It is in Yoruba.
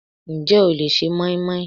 Ǹjẹ́ o le se moinmoin?